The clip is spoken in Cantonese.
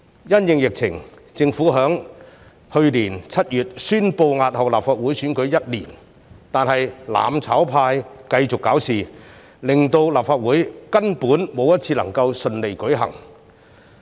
因應疫情，雖然政府在去年7月宣布押後立法會選舉1年，但"攬炒派"繼續搞事，令立法會根本沒有一次會議能夠順利舉行。